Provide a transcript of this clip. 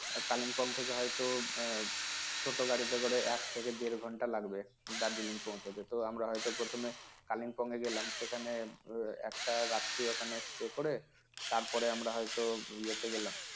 kalingpong থেকে হয়তো আহ ছোট গাড়িতে করে এক থেকে দেড় ঘন্টা লাগবে Darjeeling পৌঁছাতে তো আমরা হয়তো প্রথমে Kalimpong এ গেলাম সেখানে এর একটা রাত্রি ওখানে stay করে তারপরে আমরা হয়তো ইয়াতে গেলাম